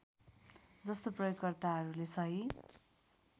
जस्तो प्रयोगकर्ताहरूले सही